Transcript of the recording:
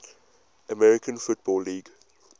american football league